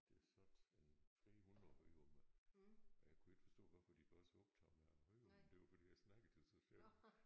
Der sad en måske 100 i rummet og jeg kunne ikke forstå hvorfor de var så optagede af at høre men det var fordi jeg snakkede så sjovt